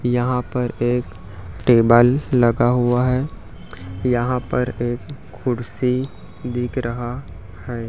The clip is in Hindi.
यहाँ पर एक टेबल लगा हुआ है यहाँ पर एक कुर्सी दिख रहा है।